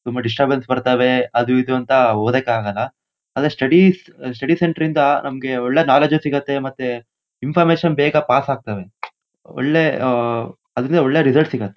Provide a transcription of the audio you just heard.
ತುಂಬಾ ಡಿಸ್ಟರ್ಬೆನ್ಸ್ ಬರ್ತಾವೆ ಅದು ಇದು ಅಂತ ಓದೋಕ್ ಆಗಲ್ಲ. ಆದ್ರೆ ಸ್ಟಡಿಸ್ ಅಹ ಸ್ಟಡಿ ಸೆಂಟರ್ ಇಂದ ನಮಗೆ ಒಳ್ಳೆ ನೋಲೆಜ್ ಸಿಗುತ್ತೆ ಮತ್ತೆ ಇನ್ಫರ್ಮೇಷನ್ ಬೇಗ ಪಾಸ್ ಆಗ್ತವೆ. ಒಳ್ಳೆ ಆಹ್ಹ್ ಅದರಿಂದ ಒಳ್ಳೆ ರಿಸಲ್ಟ್ ಸಿಗುತ್ತೆ.